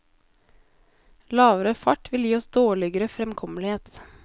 Lavere fart vil gi oss dårligere fremkommelighet.